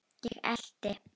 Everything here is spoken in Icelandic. Ég elti.